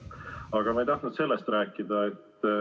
Aga ma ei tahtnud sellest rääkida.